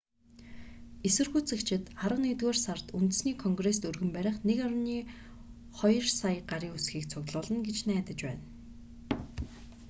эсэргүүцэгчид арван нэгдүгээр сард үндэсний конгрест өргөн барих 1.2 сая гарын үсгийг цуглуулна гэж найдаж байна